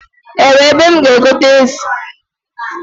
Ewe ebe m ga egote ezi?